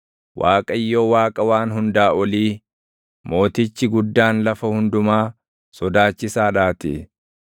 Waaqayyo Waaqa Waan Hundaa Olii, Mootichi guddaan lafa hundumaa, sodaachisaadhaatii!